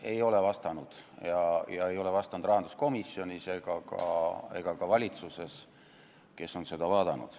Menetlus ei ole vastanud heal tavale ei rahanduskomisjonis ega ka valitsuses, kes on seda arutanud.